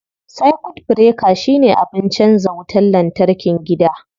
Circuit breaker shine abin canza wutar lantarkin gida.